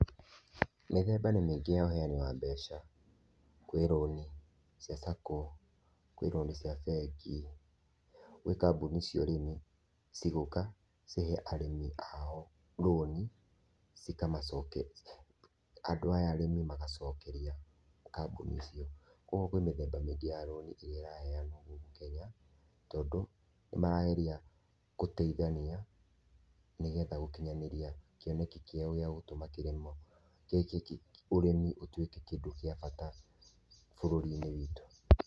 Mĩthemba nĩ mĩngĩ ya ũheani wa mbeca kwĩ [loan] cia sacco kwĩ rũni cia mbengi, gwĩ kambuni cia ũrĩmi cigũka cihe arĩmĩ aorũni cikamacoke, andũ aya arĩmĩ magacokeria kambuni icio, kwa ũgũo kwĩ mĩthemba mĩngĩ ya rũni ĩrĩa ĩraheanwo gũkũ Kenya tondũ nĩmarageria gũteithania nĩgetha gũkinyanĩria kĩoneki kĩao gíĩ gũtũma kĩrĩmo , ũrĩmĩ ũtwĩke kĩndũ gia bata bururi-ĩnĩ wĩtũ.